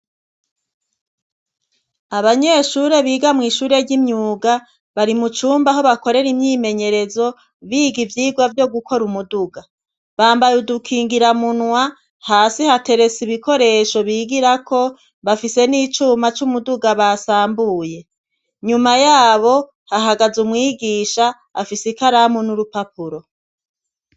Abanyeshure biga mw' ishure ry'imyuga bari mu cumba aho bakorera imyimenyerezo, biga ivyigwa vyo gukora umuduga. Bambaye udukingiramunwa, hasi hateretse ibikoresho bigirako, bafise n'icuma c'umuduga basambuye. Nyuma yabo hahagaze umwigisha afise ikaramu n'urupapuro.